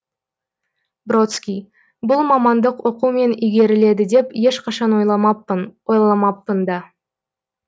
бродский бұл мамандық оқумен игеріледі деп ешқашан ойламаппын ойламаппын да